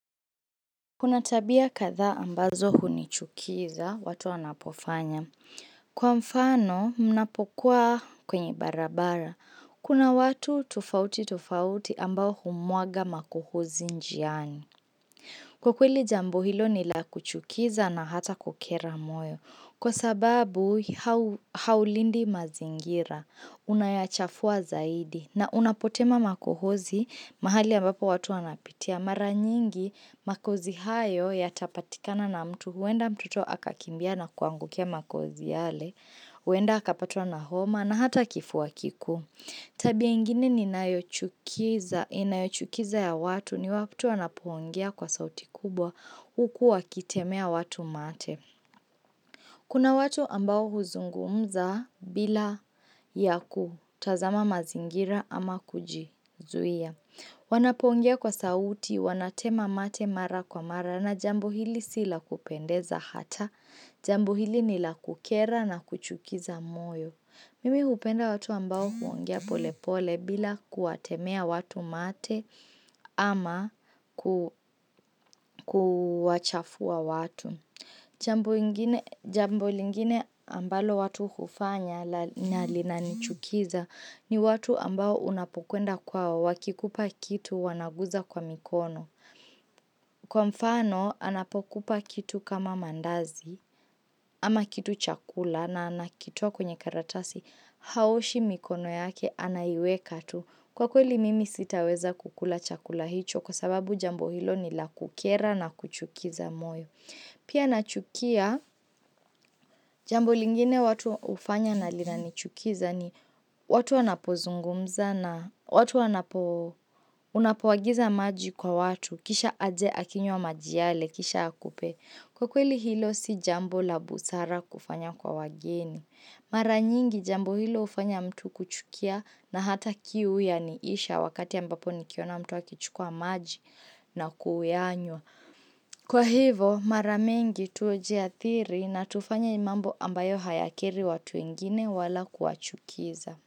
Kuna tabia kadhaa ambazo hunichukiza, watu wanapofanya. Kwa mfano, mnapokuwa kwenye barabara. Kuna watu tufauti tufauti ambao humwaga makuhuzi njiani. Kwa kweli jambo hilo nila kuchukiza na hata kukera moyo. Kwa sababu, haulindi mazingira. Unayachafua zaidi. Na unapotema makuhuzi, mahali ambapo watu anapitia. Mara nyingi makozi hayo ya tapatikana na mtu, huenda mtuto akakimbia na kuangukia makozi yale, huenda akapatwa na homa na hata kifua kikuu. Tabia ingine ni nayochukiza inayochukiza ya watu ni watu wanapoongea kwa sauti kubwa huku wakitemea watu mate. Kuna watu ambao huzungumza bila yaku tazama mazingira ama kujizuia. Wanapoongea kwa sauti, wanatema mate mara kwa mara na jambo hili sila kupendeza hata. Jambo hili nila kukera na kuchukiza moyo. Mimi hupenda watu ambao huongea pole pole bila kuwatemea watu mate ama kuwachafua watu. Jambo lingine ambalo watu kufanya nalina nichukiza ni watu ambao unapokwenda kwao wakikupa kitu wanaguza kwa mikono. Kwa mfano anapokupa kitu kama mandazi ama kitu chakula na anakitoa kwenye karatasi haoshi mikono yake anaiweka tu. Kwa kweli mimi sitaweza kukula chakula hicho kwa sababu jambo hilo ni lakukera na kuchukiza moyo. Pia nachukia, jambo lingine watu ufanya na lina nichukiza ni watu wanapozungumza na watu wanapo unapowagiza maji kwa watu. Kisha aje akinywa maji yale kisha akupe. Kwa kweli hilo si jambo labusara kufanya kwa wageni. Mara nyingi jambo hilo hufanya mtu kuchukia na hata kiu ya niisha wakati ambapo nikiona mtu akichukua maji na kuyanywa. Kwa hivo mara mingi tujiathiri na tufanye imambo ambayo hayakeri watu wengine wala kuwachukiza.